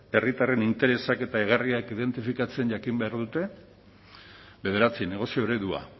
herritarren interesak eta egarriak identifikatzen jakin behar dute bederatzi negozio eredua